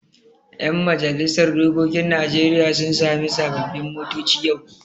Yan majalisar dokokin Najeriya sun sami sababbin motoci yau.